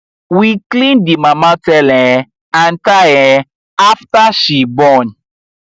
we clean the mama tail um and thigh um after she born